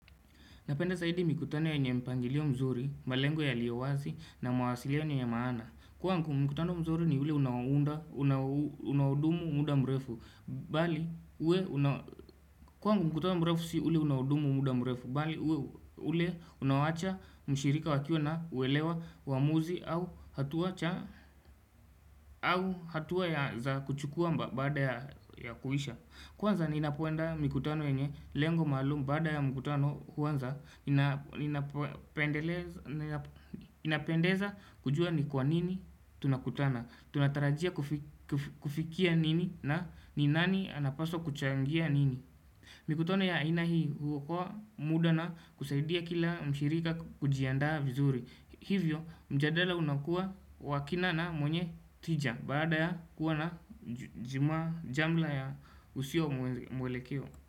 Napenda saidi mikutano ya nye mpangilio mzuri, malengo ya liawazi na mawasilio nye maana. Kwa ngu mkutano mzuri ni ule unaudumu muda mrefu, bali ule unawacha mshirika wakio na uelewa wamuzi au hatuwa za kuchukua mba baada ya kuhisha. Kwanza ni inapuenda mkutano wenye lengo malum bada ya mkutano kwanza inapendeza kujua ni kwa nini tunakutana, tunatarajia kufikia nini na ninani anapaso kuchangia nini. Mikutona ya aina hii hukua muda na kusaidia kila mshirika kujiandaa vizuri Hivyo mjadala unakua wakinana mwenye tija Baada ya kuwa na jima jamla ya usio mwelekeo.